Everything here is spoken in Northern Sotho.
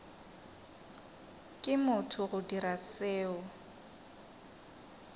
ke motho go dira seo